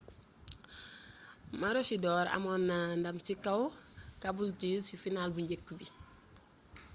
maroochydore amoon na ndam ci kaw caboolture ci final bu njëkk bi